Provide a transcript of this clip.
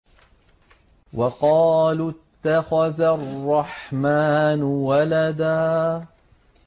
وَقَالُوا اتَّخَذَ الرَّحْمَٰنُ وَلَدًا